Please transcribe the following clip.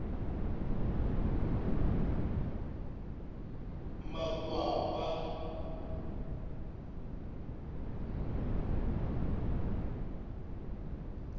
makwapa